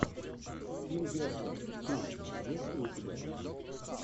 тим бертон фильм есть ли у тебя